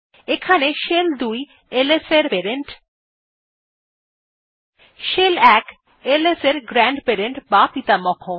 এখানে shell ২ ls এর parent shell ১ ls এর গ্র্যান্ডপেরেন্ট বা পিতামহ